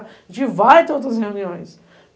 A gente vai ter outras reuniões.